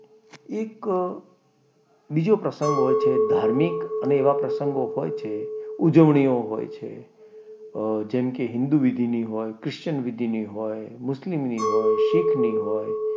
એક બીજો પ્રસંગ હોય છે ધાર્મિક અને એવા પ્રસંગો હોય છે ઉજવણી હોય છે જેમ કે હિન્દુ વિધિની હોય, ક્રિશ્ચન વિધિ ની હોય, મુસ્લિમ ની હોય, શીખની હોય,